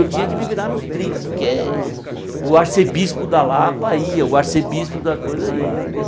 Eu tinha que me virar nos trinta, porque o arcebispo da Lapa ia, o arcebispo da coisa ia, entendeu?